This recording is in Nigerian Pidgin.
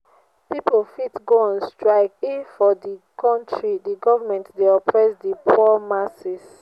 pipo fit go on strike if for di country di government de oppress di poor masses